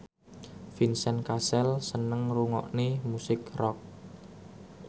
Vincent Cassel seneng ngrungokne musik rock